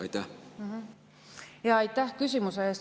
Aitäh küsimuse eest!